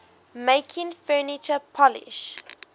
making furniture polish